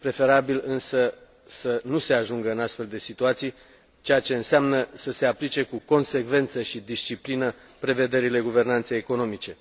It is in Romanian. Este preferabil însă să nu se ajungă în astfel de situații, ceea ce înseamnă să se aplice cu consecvență și disciplină prevederile guvernanței economice.